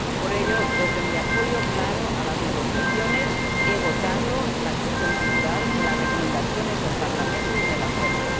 Por ello desde mi apoyo claro a las negociaciones he votado la excepción cultural en las recomendaciones del Parlamento y en el Acuerdo.